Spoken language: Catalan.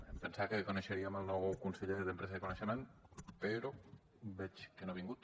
em pensava que coneixeríem el nou conseller d’empresa i coneixement però veig que no ha vingut